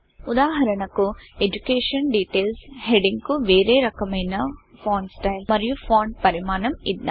ఉదాహరణకు education details education details heading కు వేరే రకమైన ఫాంట్ స్టైల్ మరియు ఫాంట్ పరిమాణం ఇద్దాం